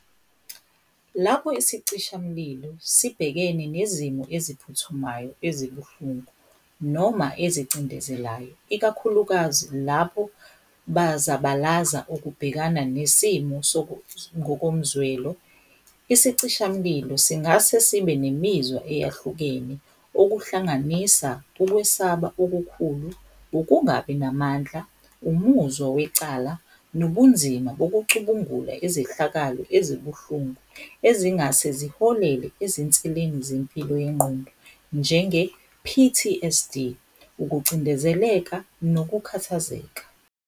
Lapho isicishamlilo sibhekene nezimo eziphuthumayo ezibuhlungu noma ezicindezelayo, ikakhulukazi lapho bazabalaza ukubhekana nesimo ngokomzwelo isicishamlilo singase sibe nemizwa eyahlukene okuhlanganisa ukwesaba okukhulu, ukungabi namandla, umuzwa wecala nobunzima bokucubungula izehlakalo ezibuhlungu ezingase ziholele ezinseleni zempilo yengqondo njenge-P_T_S_D, ukucindezeleka nokukhathazeka.